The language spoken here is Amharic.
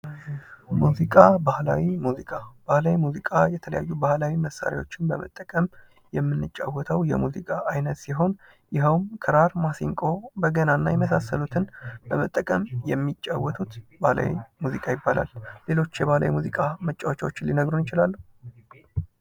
ሙዚቃ ባህላዊ ሙዚቃ የተለያዩ ባህላዊ መሳርያዎችን በመጠቀም የምንጫወተው የሙዚቃ አይነት ሲሆን ይኸውም ክራር ፣ማሲንቆ ፣በገናና የመሳሰሉትን በመጠቀም የሚጫወቱት ባህላዊ ባህላዊ ሙዚቃ ይባላል። ሌሎች የባህላዊ ሙዚቃ ማጫወቻቸውን ሊነግሩን ይችላሉ?